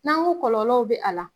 N'an ko kɔlɔlɔw be a la